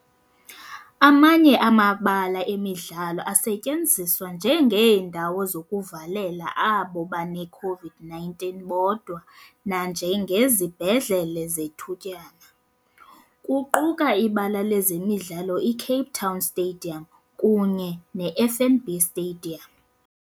Amanye amabala emidlalo asetyenziswa njengeendawo zokuvalela abo baneCOVID-19 bodwa nanjengezibhedlele zethutyana, kuquka iBala lezemidlalo i-Cape Town Stadium kunye ne-FNB Stadium.